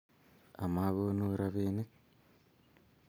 Amakonu robinik